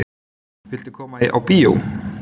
Viltu koma á bíó?